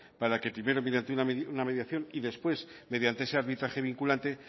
para que primero mediante una mediación y después mediante ese arbitraje vinculante